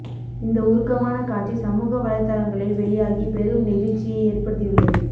இந்த உருக்கமான காட்சி சமூக வலைத்தளங்களில் வெளியாகி பெரும் நெகிழ்ச்சியை ஏற்படுத்தியுள்ளது